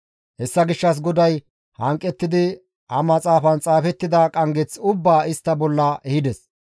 Hessa gishshas GODAY hanqettidi ha maxaafan xaafettida qanggeth ubbaa istta bolla ehides.